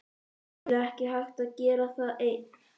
Það er nefnilega ekki hægt að gera það einn.